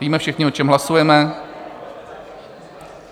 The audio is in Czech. Víme všichni, o čem hlasujeme?